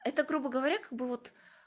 это грубо говоря как бы вот